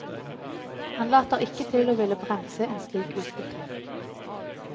Han later ikke til å ville bremse en slik utvikling.